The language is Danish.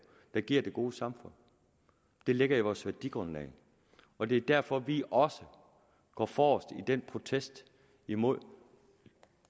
der giver det gode samfund det ligger i vores værdigrundlag og det er derfor at vi også går forrest i den protest imod